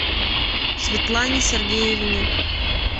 светлане сергеевне